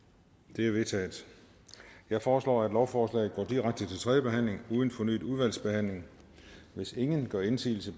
det er vedtaget jeg foreslår at lovforslaget går direkte til tredje behandling uden fornyet udvalgsbehandling hvis ingen gør indsigelse